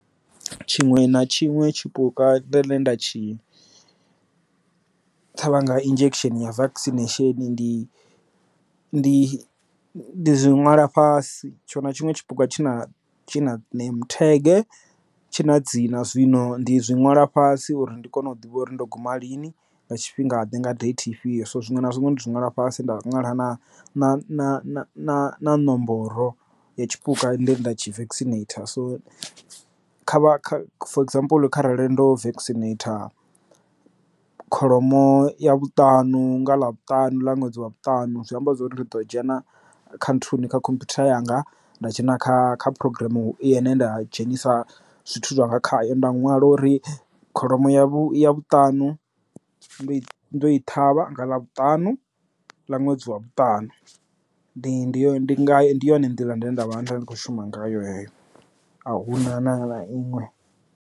Tshiṅwe na tshiṅwe tshipuka ḽe nda tshine ṱhavha nga injection ya vacation ndi ndi ndi zwi nwala fhasi tshinwe na tshiṅwe tshipuka tshi na name tag tshi na dzina zwino ndi zwi ṅwala fhasi uri ndi kone u ḓivha uri ndo guma lini nga tshifhinga ḓe nga date ifhio. So zwiṅwe na zwiṅwe ndi nwala fhasi nda ṅwala na na nomboro ya tshipuka ende nda tshivaksineitha so kha kha for example kha rali lwendo fekisi neta kholomo ya vhutanu nga ḽa vhutanu ḽa ṅwedzi wa vhutanu zwi amba uri ndi ḓo dzhena kha nthani kha khomphutha yanga nda dzhena kha kha programm u i ne nda dzhenisa zwithu zwanga khayo nda nwala uri kholomo ya vhu ya vhutanu ndo i ḓo i ṱhavha nga ḽa vhutanu ḽa ṅwedzi wa vhutanu ndi ndi ndi ndi yone nḓila ndi nda vha na ndavha ndi kho shuma ngayo a huna na iṅwe.